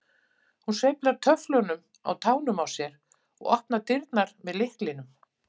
Hún sveiflar töfflunum á tánum á sér og opnar dyrnar með lyklinum.